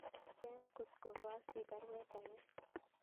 Swen kotko koasich baruet age